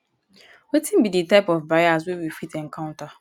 wetin be di type of bias wey we fit encounter?